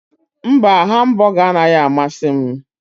Mba hambụga anaghị amasị m.